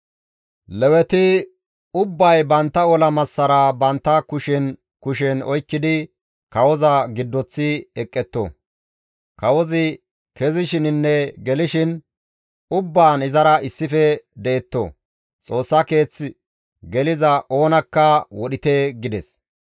Leweti ubbay bantta ola massara bantta kushen kushen oykkidi kawoza giddoththi eqqetto; kawozi kezishininne gelishin ubbaan izara issife detto; Xoossa keeth geliza oonakka wodhite» gides.